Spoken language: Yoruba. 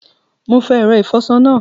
Mo fo èro ìfoso náà